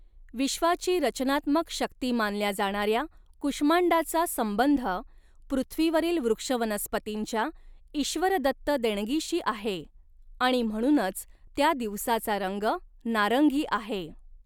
विश्वाची रचनात्मक शक्ती मानल्या जाणाऱ्या कुष्मांडाचा संबंध, पृथ्वीवरील वृक्षवनस्पतींच्या ईश्वरदत्त देणगीशी आहे, आणि म्हणूनच, त्या दिवसाचा रंग नारंगी आहे.